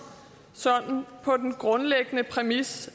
på den grundlæggende præmis